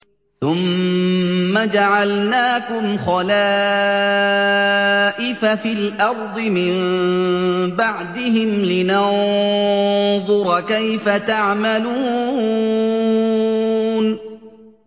ثُمَّ جَعَلْنَاكُمْ خَلَائِفَ فِي الْأَرْضِ مِن بَعْدِهِمْ لِنَنظُرَ كَيْفَ تَعْمَلُونَ